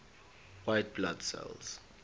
white blood cells